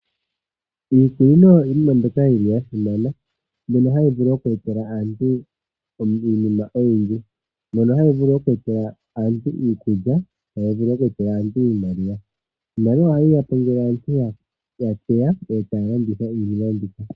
Iikunino iinima mbyoka yi li ya simana mbyono hayi vulu oku etela aantu iinima oyindji, mono hayi vulu oku etela aantu iikulya, tayi vulu oku etela aantu iimaliwa. Iimaliwa ohayi ya po ngele aantu ya futwa e taya landitha iinima mbika.